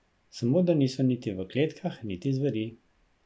Samo da niso niti v kletkah niti zveri.